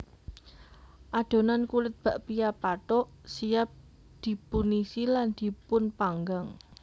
Adhonan kulit bakpia pathuk siap dipunisi lan dipunpanggang